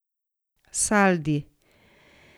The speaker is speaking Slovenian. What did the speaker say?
Saldi!